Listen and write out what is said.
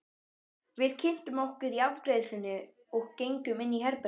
Við kynntum okkur í afgreiðslunni og gengum inn í herbergið.